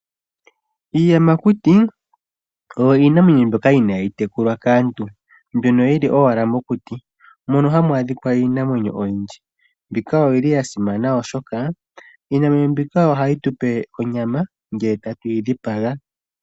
Iiyamakuti oyo iinamwenyo mbyoka inaayitekulwa kaantu. Mbyono yili owala mokuti mono hamwaadhikwa iinamwenyo oyindji mbika oyili yasimana oshokaa, iinamwenyo mbika ohayitupe onyama ngee tatuyi dhipaga.